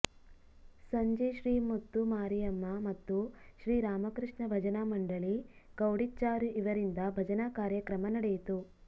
ಸಂಜೆ ಶ್ರೀ ಮುತ್ತು ಮಾರಿಯಮ್ಮ ಮತ್ತು ಶ್ರೀ ರಾಮಕೃಷ್ಣ ಭಜನಾ ಮಂಡಳಿ ಕೌಡಿಚ್ಚಾರು ಇವರಿಂದ ಭಜನಾ ಕಾರ್ಯಕ್ರಮ ನಡೆಯಿತು